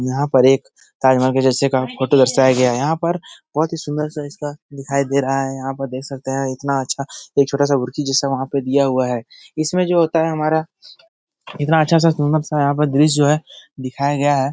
यहाँ पर एक जैसे का फोटो दर्शाया गया है । यहाँ पर इसका बहुत ही सुंदर सा इसका दिखाई दे रहा है । यहाँ देख सकते हैं इतना अच्छा एक छोटा सा एक जैसा वहाँ पर दिया हुआ है । इसमें जो होता है हमारा कितना अच्छा सा सुंदर सा यहाँ पर दृश्य जो है दिखाया गया है ।